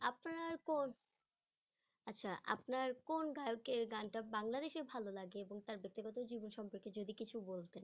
আর কোন আচ্ছা আপনার কোন গায়কের গানটা বাংলাদেশের ভালো লাগে এবং তার ব্যক্তিগত জীবন সম্পর্কে যদি কিছু বলতেন